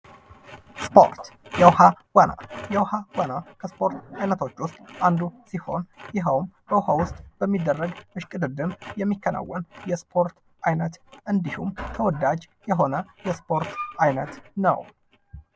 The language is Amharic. ስፖርት፤ የውሃ ዋና፦ የውሃ ዋና ከስፖርት አይነቶች ውስጥ አንዱ ሲሆን ይሄውም በውሃ ውስጥ በሚደረግ እሽቅድድም የሚከናወን የስፖርት አይነት እንዲሁም ተወዳጅ የሆነ የስፖርት አይነት ነው።